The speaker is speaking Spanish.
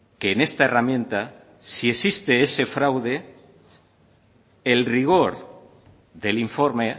que en esta herramienta si existe ese fraude el rigor del informe